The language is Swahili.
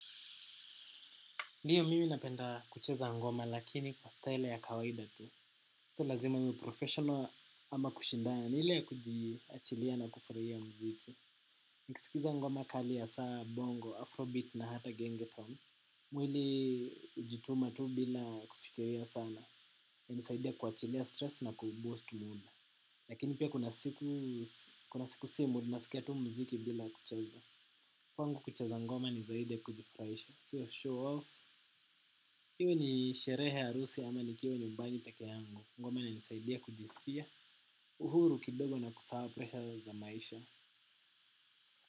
Ndiyo mimi napenda kucheza ngoma lakini kwa style ya kawaida tu. Sio lazima ni professional ama kushindana ni ile kujiachilia na kufuraia mziki. Nikisikiza ngoma kali hasaa bongo, afrobeat na hata genge tone. Mwili ujituma tu bila kufikiria sana. Yanisaidia kuachilia stress na kuboast mood. Lakini pia kuna siku simu ninaskia tu mziki bila kucheza. Kwangu kucheza ngoma ni zaidi ya kujifuraisha. Siyo shaw off. Iwe ni sherehe ya harusi ama nikiwa nyumbani peke yangu ngoma inanisaidia kujiskia uhuru kidogo na kusahau presha za maisha.